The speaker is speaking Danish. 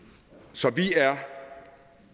så vi er